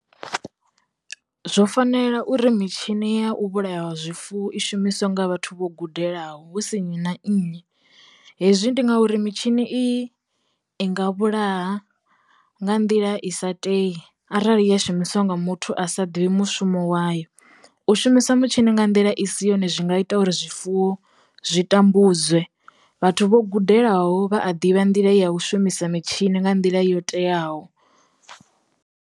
Zwo fanela uri mitshini ya u vhulaya zwifuwo i shumiswe nga vhathu vho gudelaho husi nnyi na nnyi. Hezwi ndi ngauri mitshini i i nga vhulaha nga nḓila i sa tei, arali ya shumiswa nga muthu a sa ḓivhi mushumo wayo. U shumisa mitshini nga nḓila i si yone zwi nga ita uri zwifuwo zwi tambudzwe vhathu vho gudelaho vha a ḓivha nḓila ya u shumisa mitshini nga nḓila yo teaho.